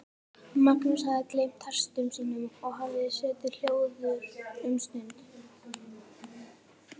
Magnús hafði gleymt hestum sínum og hafði setið hljóður um stund.